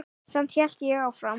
Samt hélt ég áfram.